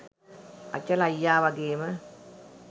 අචල අයියා වගේම